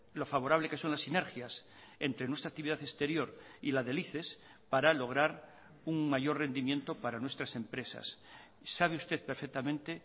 lo favorable que son las sinergias entre nuestra actividad exterior y la del icex para lograr un mayor rendimiento para nuestras empresas sabe usted perfectamente